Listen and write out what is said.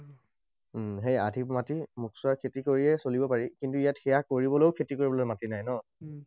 উম সেই আধি মাটি মোক চোৱা খেতি কৰিয়েই চলিব পাৰি। কিন্তু ইয়াত সেয়া কৰিবলৈও খেতি কৰিবলৈও মাটি নাই ন?